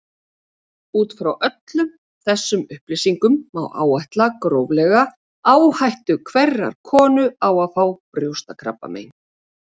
Út frá öllum þessum upplýsingum má áætla gróflega áhættu hverrar konu á að fá brjóstakrabbamein.